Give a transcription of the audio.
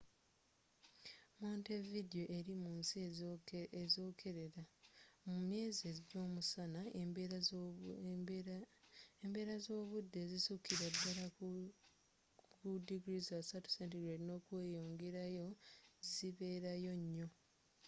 montevideo eri mu nsi ezokerera; mu myezi gy’omusana embeera zobudde ezisukira ddala ku +30°c zibeerayo nyo